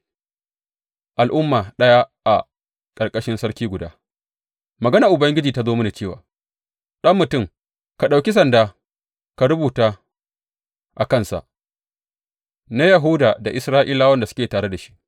Al’umma ɗaya a ƙarƙashin sarki guda Maganar Ubangiji ta zo mini cewa, Ɗan mutum, ka ɗauki sanda ka rubuta a kansa, Na Yahuda da Isra’ilawan da suke tare da shi.’